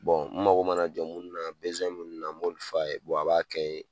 mago mana jɔ munnu na munnu na m'olu f'a ye, a b'a kɛ n ye